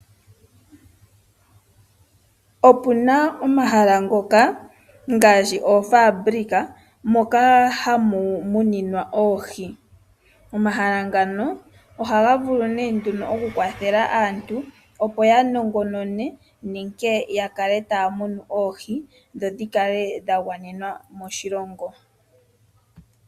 Opuna omahala ngoka ngaashi oofabulika moka hamu muninwa oohi. Omahala ngano ohaga vulu nee nduno okukwathela aantu opo ya nongonone nenge ya kale taya munu oohi dho dhi kale dha gwanena moshilongo.